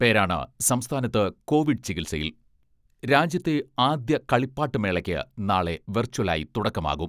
പേരാണ് സംസ്ഥാനത്ത് കോവിഡ് ചികിത്സയിൽ രാജ്യത്തെ ആദ്യ കളിപ്പാട്ട് മേളയ്ക്ക് നാളെ വെർച്വലായി തുടക്കമാകും.